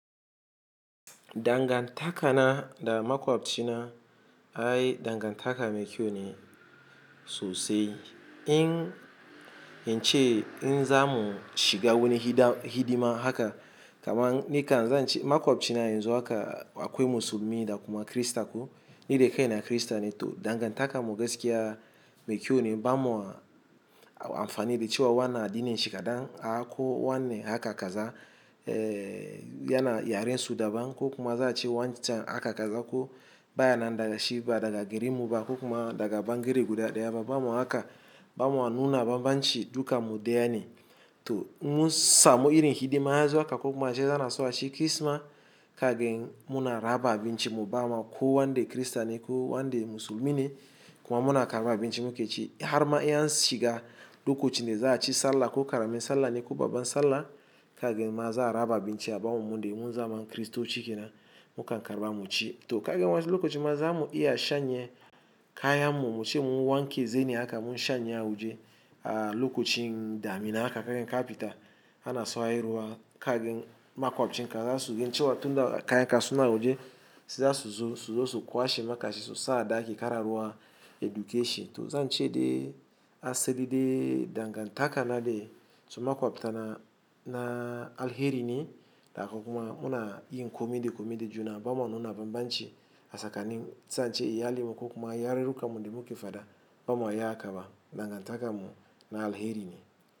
Dangantaka na da makwabci na, ai dangantaka mekiyo ne sosai. In yance in zamu shiga wani hidima haka kaman nika zan ci makwabci na yanzu haka akwai musulmi da kuma krista ko ni da kai na krista ne to dangantaka mu gaskiya mekiyo ne bamo amfanin da cewa wana addinin shi kaɗan a ko wanne haka kaza yana yaren su daban ko kuma za a ce wancan haka kaza ko baya na daga shida daga garinmu ba ko kuma daga bangere guda daya ba bamo haka bama nuna bambanci duka mu deya ne. To in mun samu irin hidima yazu haka ko kuma zai zana so a ci kisma kagen muna raba abinci mu bama ko wanda krista ne ko wanda musulmi ne kuma muna karɓa abinci mu ke ci har ma in an shiga lokacin da za a ci sallah ko karamin sallah ne ko babban sallah kagen ma za a raba abinci a bamo mu dai mun zama kristoci kenan mukan karɓa mu ci. To kagen wasu lokacin ma zamu iya shanye kayan mu muce mun wanke zeni haka mun shanye a waje a lokacin damina haka kagen kafita ana so hairuwa kagen makwabcin ka za su ginciwa tunda kayan ka suna waje su za su zo su zo su kwashe makashi su sa ɗaki kar a ruwa education. To zan ce dai asali dai dangantaka na dai da makwabta na na alheri ne da kuma muna yin kome da kome da juna bamo nuna bambanci. A tsakani sai ace iya linmu ko kuma ya rerrekam mu da mu ke faɗa bamo yi haka ba dangantaka mu na alheri ne.